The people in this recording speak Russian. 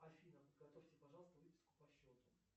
афина подготовьте пожалуйста выписку по счету